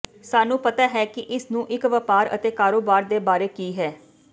ਸਾਨੂੰ ਪਤਾ ਹੈ ਕਿ ਇਸ ਨੂੰ ਇੱਕ ਵਪਾਰ ਅਤੇ ਕਾਰੋਬਾਰ ਦੇ ਬਾਰੇ ਕੀ ਹੈ